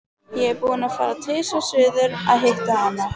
Ég er búinn að fara tvisvar suður að hitta hana.